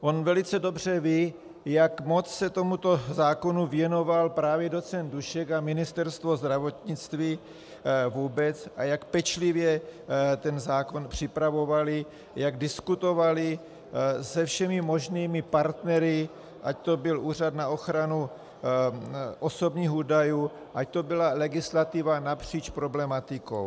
On velice dobře ví, jak moc se tomuto zákonu věnoval právě docent Dušek a Ministerstvo zdravotnictví vůbec a jak pečlivě ten zákon připravovali, jak diskutovali se všemi možnými partnery, ať to byl Úřad na ochranu osobních údajů, ať to byla legislativa napříč problematikou.